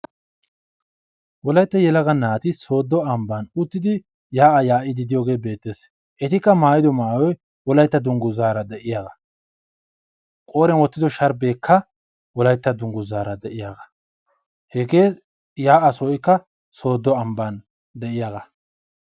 Wolaytta yelaga naati sooddo ambban uttidi yaa'a yaa'ide de'iyooge beettees. etikka maayyido maayyoy wolayitta dunguzaara de'iyaagaa qooriyan wottido sharbeekka wolayitta dunguzaara de'iyaagaa. hegee yaa'aa sohoyikka sooddo ambban de'iyaagaa.